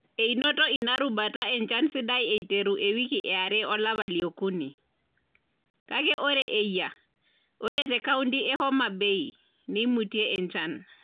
Enoto ina rubata enchan sidai eiteru ewiki eare olapa liokuni, kake ore eyia ore te kaunti e Hom Bay, neimutie enchan.